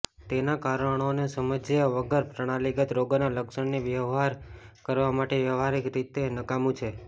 તેના કારણોને સમજ્યા વગર પ્રણાલીગત રોગના લક્ષણને વ્યવહાર કરવા માટે વ્યવહારિક રીતે નકામું છે